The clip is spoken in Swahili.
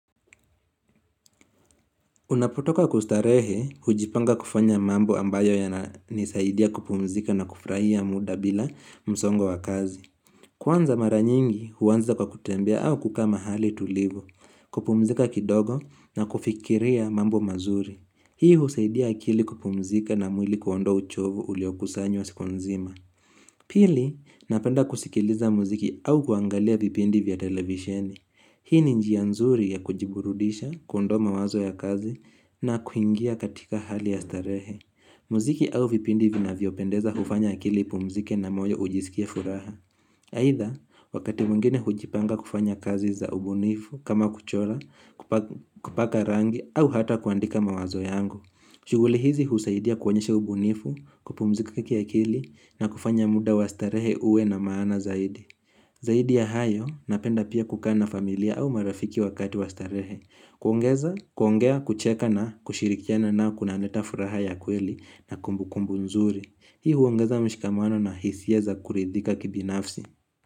Unapotoka kustarehe, hujipanga kufanya mambo ambayo ya nisaidia kupumzika na kufurahia muda bila msongo wa kazi. Kwanza mara nyingi, huanza kwa kutembea au kukaa mahali tulivu, kupumzika kidogo na kufikiria mambo mazuri. Hii husaidia akili kupumzika na mwili kuonda uchovu uliokusanywa siku nzima. Pili, napenda kusikiliza muziki au kuangalia vipindi vya televisheni. Hii ni njia nzuri ya kujiburudisha, ku ondoa mawazo ya kazi na kuingia katika hali ya starehe. Muziki au vipindi vina vyopendeza hufanya akili ipumzike na moyo ujisikie furaha. Aidha, wakati mwingine hujipanga kufanya kazi za ubunifu kama kuchora, kupaka rangi au hata kuandika mawazo yangu. Shughuli hizi husaidia kuonyesha ubunifu, kupumzika kiakili na kufanya muda wa starehe uwe na maana zaidi. Zaidi ya hayo, napenda pia kukaa na familia au marafiki wakati wastarehe. Kuongeza, kuongea, kucheka na kushirikiana nayo kunaleta furaha ya kweli na kumbukumbu nzuri. Hii huongeza mshikamano na hisia za kuridhika kibinafsi.